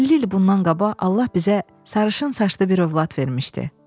50 il bundan qabaq Allah bizə sarışın saçlı bir ovlad vermişdi.